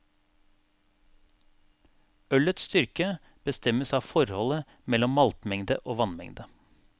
Ølets styrke bestemmes av forholdet mellom maltmengde og vannmengde.